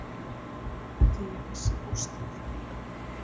Ætli ég missi fóstrið?